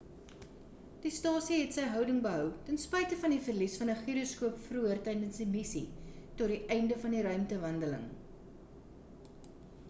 die stasie het sy houding behou ten spyte van die verlies van 'n gyroskoop vroeër tydens die missie tot die einde van die ruimtewandeling